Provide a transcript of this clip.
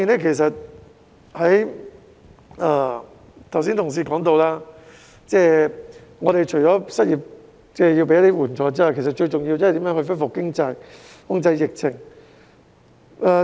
另一方面，正如同事剛才提到，除要提供失業援助外，其實最重要是如何恢復經濟、控制疫情。